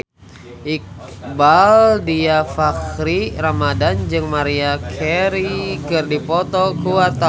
Iqbaal Dhiafakhri Ramadhan jeung Maria Carey keur dipoto ku wartawan